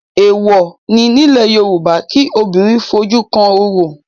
Èèwọ̀ ni nílẹ̀ Yorùbá kí obìnrin ó fojú kan orò